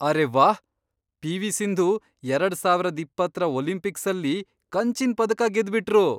ಅರೇ ವಾಹ್, ಪಿವಿ ಸಿಂಧೂ ಎರಡ್ ಸಾವರದ್ ಇಪ್ಪತ್ರ ಒಲಿಂಪಿಕ್ಸಲ್ಲಿ ಕಂಚಿನ್ ಪದಕ ಗೆದ್ಬಿಟ್ರು.